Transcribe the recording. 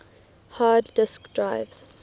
hard disk drives